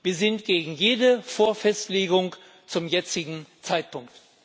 Wir sind gegen jede Vorfestlegung zum jetzigen Zeitpunkt.